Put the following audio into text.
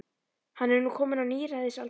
Hann er nú kominn á níræðisaldur.